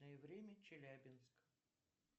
время челябинск